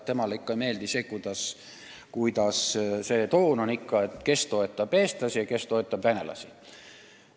Temale ei meeldi, et toon on selline, et kes toetab eestlasi ja kes toetab venelasi.